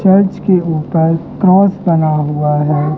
Church के ऊपर cross बना हुआ है।